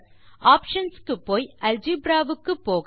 options க்கு போய் algebra க்கு போக